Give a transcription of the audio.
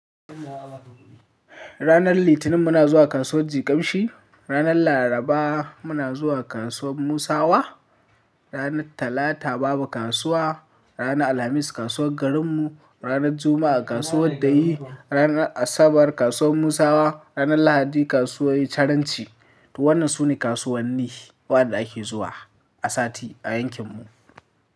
Ranar Litinin muna zuwa kasuwar Jikamshi, ranar Laraba muna zuwa kasuwar Musawa, ranar Talata babu kasuwa, ranar Alhamis kasuwar garinmu, ranar Juma'a kasuwar Dayi, ranar Asabar kasuwar Musawa, ranar Lahadi kasuwar chiranci. Wannan sune kasuwanni waɗanda ake zuwa a sati a yankinmu.